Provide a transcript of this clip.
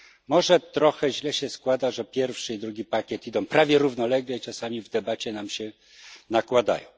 Może trochę źle się składa, że pierwszy i drugi pakiet idą prawie równolegle i czasami w debacie nam się nakładają.